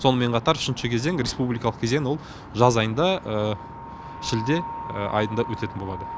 сонымен қатар үшінші кезең республикалық кезең ол жаз айында шілде айында өтетін болады